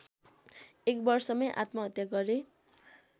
एक वर्षमै आत्महत्या गरे